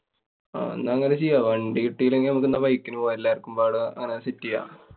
ആഹ് ന്നാ അങ്ങനെ ചെയ്യാം. വണ്ടി കിട്ടില്ലെങ്കി നമുക്ക് ന്നാ bike ന് പോവാം. എല്ലാര്‍ക്കും പാടെ അങ്ങനെ set ചെയ്യാം.